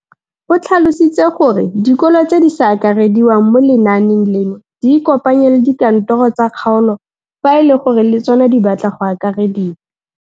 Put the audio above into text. O tlhalositse gore dikolo tse di sa akarediwang mo lenaaneng leno di ikopanye le dikantoro tsa kgaolo fa e le gore le tsona di batla go akarediwa.